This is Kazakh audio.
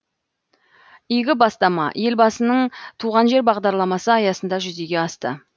игі бастама елбасының туған жер бағдарламасы аясында жүзеге асты